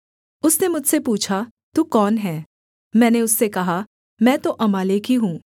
उसने मुझसे पूछा तू कौन है मैंने उससे कहा मैं तो अमालेकी हूँ